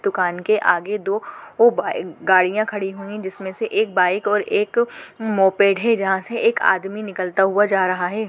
दूकान के आगे दो गाड़ियाँ खडी हुई जिसमें से एक बाइक और एक मोपेड है जहाँ से एक आदमी निकलता हुआ जा रहा है।